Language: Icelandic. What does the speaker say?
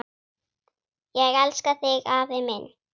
Ég elska þig, afi minn!